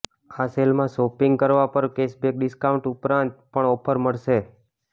આ સેલમાં શોપિંગ કરવા પર કેશબેક ડિસ્કાઉન્ટ ઉપરાંત પણ ઓફર્સ મળશે